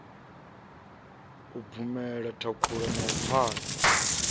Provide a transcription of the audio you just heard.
u bvumela thakhula na phala